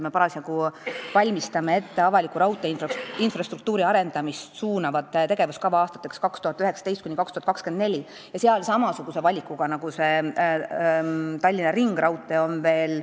Me parasjagu valmistame ette avaliku raudtee infrastruktuuri arendamist suunavat tegevuskava aastateks 2019–2024 ja seal on tegu muudegi samasuguste valikutega nagu Tallinna ringraudtee puhul.